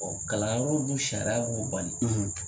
kalanyɔrɔ dun sariya b'o bali.